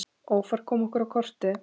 Ófærð kom okkur á kortið.